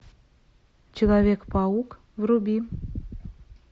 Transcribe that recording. человек паук вруби